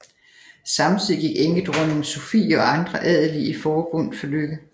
Samtidig gik enkedronning Sophie og andre adelige i forbøn for Lykke